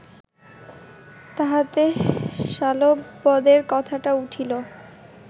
তাহাতে শাল্ববধের কথাটা উঠিল